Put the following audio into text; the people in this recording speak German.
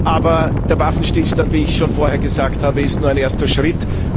Aber der Waffenstillstand, wie ich schon vorher gesagt habe, ist nur ein erster Schritt.